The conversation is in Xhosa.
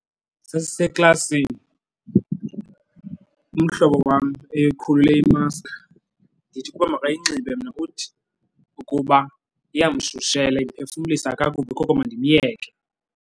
Sasiseklasini umhlobo wam ekhulule imaski ndithi ukuba makayinxibe mna. Uthi ukuba iyamshushela, imiphefumlisa kakubi koko mandimyeke.